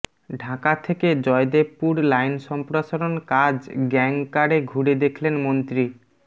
ঢাকা থেকে জয়দেবপুর লাইন সম্প্রসারণ কাজ গ্যাং কারে ঘুরে দেখলেন মন্ত্রী